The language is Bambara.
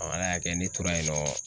Ala y'a kɛ ne tora yen nɔ